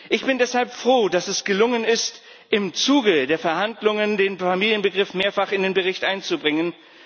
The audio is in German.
Ich bin deshalb froh, dass es gelungen ist, im Zuge der Verhandlungen den Familienbegriff mehrfach in den Bericht einzubringen.